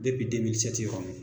yɔrɔ n